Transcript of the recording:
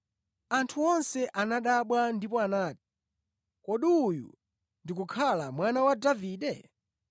Anthu onse anadabwa ndipo anati, “Kodi uyu ndi kukhala mwana wa Davide?”